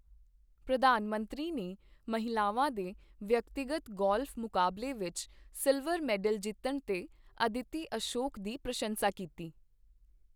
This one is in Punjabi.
ਪ੍ਰਧਾਨ ਮੰਤਰੀ ਨੇ ਮਹਿਲਾਵਾਂ ਦੇ ਵਿਅਕਤੀਗਤ ਗੋਲਫ਼ ਮੁਕਾਬਲੇ ਵਿੱਚ ਸਿਲਵਰ ਮੈਡਲ ਜਿੱਤਣ ਤੇ "ਅਦਿਤੀ ਅਸ਼ੋਕ" ਦੀ ਪ੍ਰਸ਼ੰਸਾ ਕੀਤੀ